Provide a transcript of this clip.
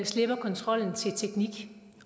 slipper kontrollen til teknik